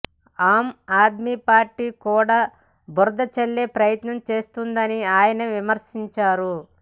ఆమ్ Aadmi party కూడా బురద చల్లే ప్రయత్నం చేస్తున్నదని ఆయన విమర్శించారు